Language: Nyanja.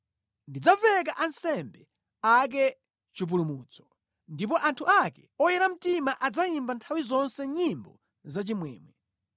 Ndidzaveka ansembe ake chipulumutso, ndipo anthu ake oyera mtima adzayimba nthawi zonse nyimbo zachimwemwe.